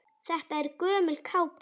Þetta er gömul kápa.